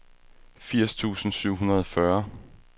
firs tusind syv hundrede og fyrre